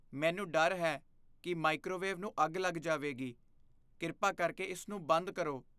ਮੈਨੂੰ ਡਰ ਹੈ ਕਿ ਮਾਈਕ੍ਰੋਵੇਵ ਨੂੰ ਅੱਗ ਲੱਗ ਜਾਵੇਗੀ। ਕਿਰਪਾ ਕਰਕੇ ਇਸ ਨੂੰ ਬੰਦ ਕਰੋ।